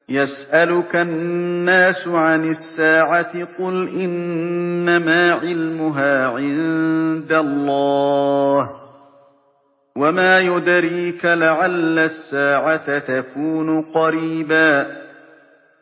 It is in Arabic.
يَسْأَلُكَ النَّاسُ عَنِ السَّاعَةِ ۖ قُلْ إِنَّمَا عِلْمُهَا عِندَ اللَّهِ ۚ وَمَا يُدْرِيكَ لَعَلَّ السَّاعَةَ تَكُونُ قَرِيبًا